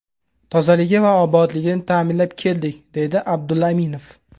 Tozaligi va obodligini ta’minlab keldik”, deydi Abdulla Aminov.